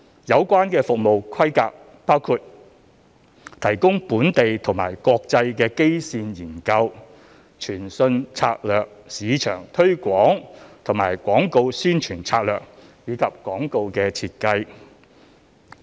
有關服務規格包括：提供本地及國際基線研究、傳訊策略、市場推廣及廣告宣傳策略，以及廣告設計。